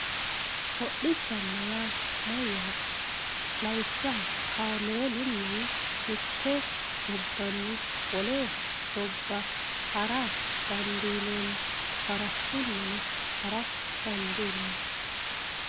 hodhishshana yaa mayaate lawishshaho kameelunni mitte gobbanni wole gobba hara dandiineemo farashshunni hara dandiineemo